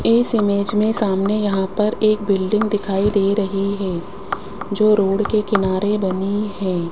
इस इमेज में सामने यहां पर एक बिल्डिंग में दिखाई दे रही है जो रोड के किनारे बनी है।